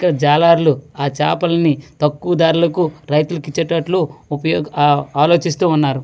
జాలర్లు ఆ చాపల్ని తక్కువ ధరలకు రైతులకు ఇచ్చేటట్లు ఉప ఆ ఆలోచిస్తూ ఉన్నారు.